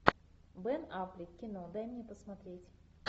бен аффлек кино дай мне посмотреть